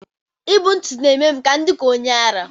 I bu ntụtụ na-eme m ka m dị ka onye ara